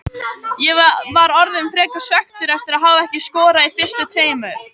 Ég var orðinn frekar svekktur eftir að hafa ekki skorað í fyrstu tveimur.